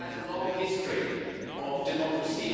It has a long history of democracy.